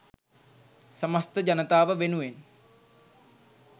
සමස්ත ජනතාව වෙනුවෙන්